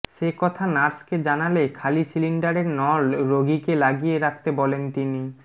সেকথা নার্সকে জানালে খালি সিলিন্ডারের নল রোগীকে লাগিয়ে রাখতে বলেন তিনি